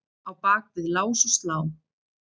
Á bak við lás og slá?